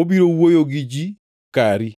Obiro wuoyo gi ji kari